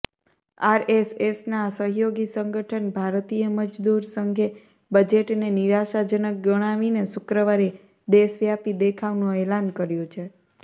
આરએસએસના સહયોગી સંગઠન ભારતીય મજદૂર સંઘે બજેટને નિરાશાજનક ગણાવીને શુક્રવારે દેશવ્યાપી દેખાવનું એલાન કર્યું છે